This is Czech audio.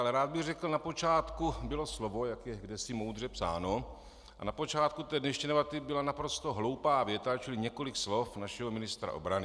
Ale rád bych řekl, na počátku bylo slovo, jak je kdesi moudře psáno, a na počátku té dnešní debaty byla naprosto hloupá věta, čili několik slov našeho ministra obrany.